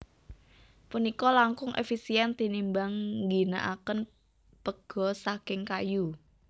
Punika langkung efisien tinimbang ngginakaken pega saking kayu